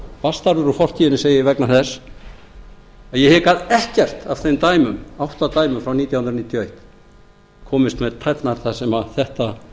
bastarður úr fortíðinni segi ég vegna þess að ég hygg að ekkert af þeim átta dæmum frá nítján hundruð níutíu og eitt komist með tærnar þar sem þetta